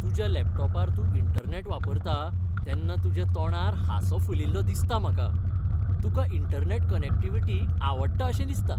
तुज्या लॅपटॉपार तूं इंटरनॅट वापरता तेन्ना तुज्या तोंडार हांसो फुलिल्लो दिसता म्हाका. तुका इंटरनॅट कनेक्टिव्हिटी आवडटा अशें दिसता!